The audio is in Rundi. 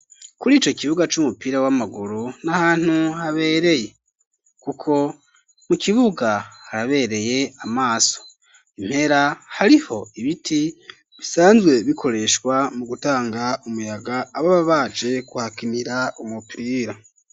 Kurico kibuga c'umupira w'amaguru n'ahantu habereye kuko mu kibuga harabereye amaso impera hariho ibiti bisanzwe bikoreshwa mu gutanga umuyaga ababa baje kuhakinira umupira.